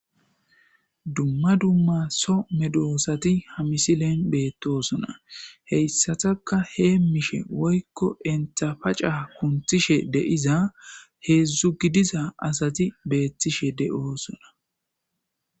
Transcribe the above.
dumma dumma so medoosati hamisi leen beettosona heyssataka hee mishe woykko entapaca kunthishe deiza heedzdzu gidiza asati beettishe de7oosona